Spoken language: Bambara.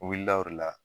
U wulila o de la